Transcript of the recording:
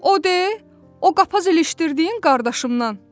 O de, o qapaz ilişdirdiyin qardaşımnan.